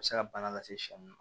A bɛ se ka bana lase shɛ ma